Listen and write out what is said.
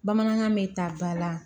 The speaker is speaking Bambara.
Bamanankan bɛ ta ba la